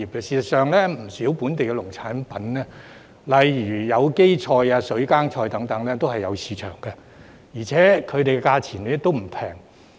事實上，不少本地農產品，例如有機菜、水耕菜等，都有市場，而且價錢並不便宜。